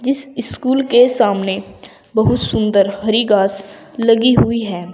इस स्कूल के सामने बहुत सुंदर हरी घास लगी हुई है।